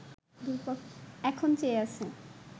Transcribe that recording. এখন চেয়ে আছে